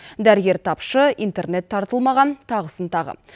дәрігер тапшы интернет тартылмаған тағысын тағы